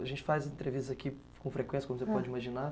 A gente faz entrevistas aqui com frequência, como você pode imaginar.